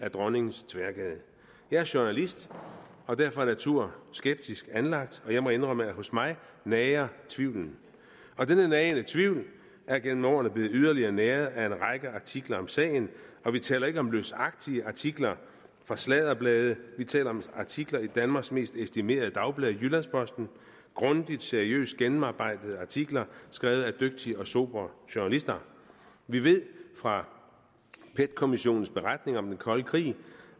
i dronningens tværgade jeg er journalist og derfor af natur skeptisk anlagt og jeg må indrømme at hos mig nager tvivlen denne nagende tvivl er gennem årene blevet yderligere næret af en række artikler om sagen og vi taler ikke om løsagtige artikler fra sladderblade vi taler om artikler i danmarks mest estimerede dagblad jyllands posten grundige og seriøst gennemarbejdede artikler skrevet af dygtige og sobre journalister vi ved fra pet kommissionens beretning om den kolde krig